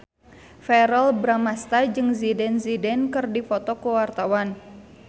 Verrell Bramastra jeung Zidane Zidane keur dipoto ku wartawan